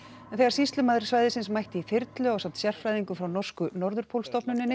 en þegar sýslumaður svæðisins mætti í þyrlu ásamt sérfræðingum frá norsku